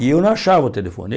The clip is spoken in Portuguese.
E eu não achava o telefone.